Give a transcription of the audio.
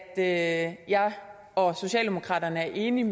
at jeg og socialdemokraterne er enige